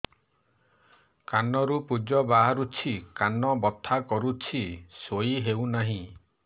କାନ ରୁ ପୂଜ ବାହାରୁଛି କାନ ବଥା କରୁଛି ଶୋଇ ହେଉନାହିଁ